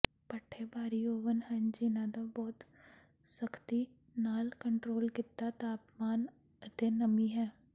ਭੱਠੇ ਭਾਰੀ ਓਵਨ ਹਨ ਜਿਨ੍ਹਾਂ ਦਾ ਬਹੁਤ ਸਖ਼ਤੀ ਨਾਲ ਕੰਟਰੋਲ ਕੀਤਾ ਤਾਪਮਾਨ ਅਤੇ ਨਮੀ ਹੈ